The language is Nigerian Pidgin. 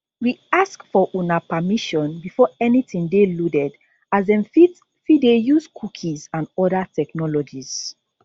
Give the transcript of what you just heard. we ask for una permission before anytin dey loaded as dem fit fit dey use cookies and oda technologies